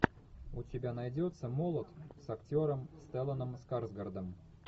у тебя найдется молот с актером стелланом скарсгардом